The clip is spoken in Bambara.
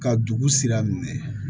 Ka dugu sira minɛ